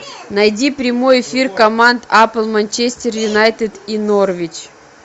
найди прямой эфир команд апл манчестер юнайтед и норвич